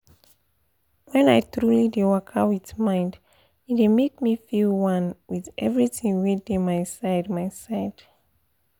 wen i truly dey waka with mind e dey make me feel one with everything wey dey my side my side